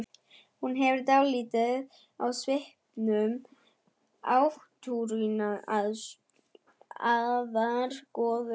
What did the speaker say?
Hún hefur dálæti á svipuðum átrúnaðargoðum og Svenni.